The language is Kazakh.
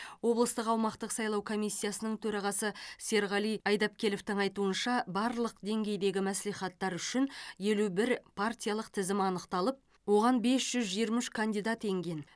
облыстық аумақтық сайлау комиссиясының төрағасы серғали айдапкеловтің айтуынша барлық деңгейдегі мәслихаттар үшін елу бір партиялық тізім анықталып оған бес жүз жиырма үш кандидат енген